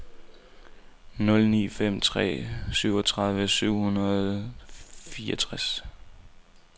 nul ni fem tre syvogtredive syv hundrede og fireogtres